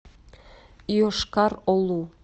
йошкар олу